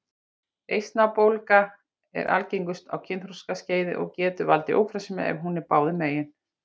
Eistnabólga er algengust á kynþroskaskeiði og getur valdið ófrjósemi ef hún er báðum megin.